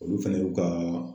Olu fɛnɛ y'u ka